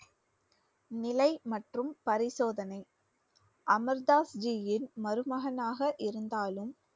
நிலை மற்றும் பரிசோதனை. அமர் தாஸ்ஜியின் மருமகனாக இருந்தாலும்